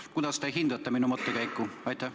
Kuidas te hindate minu mõttekäiku?